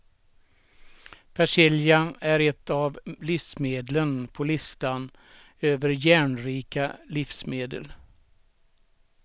Persilja är ett av livsmedlen på listan över järnrika livsmedel.